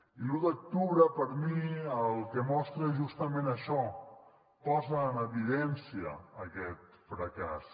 i l’u d’octubre per mi el que mostra és justament això posa en evidència aquest fracàs